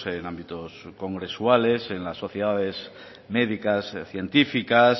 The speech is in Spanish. en ámbitos congresuales en las sociedades médicas y científicas